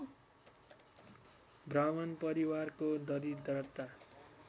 ब्राह्मण परिवारको दरिद्रता